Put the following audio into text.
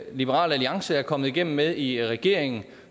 liberal alliance er kommet igennem med i regeringen og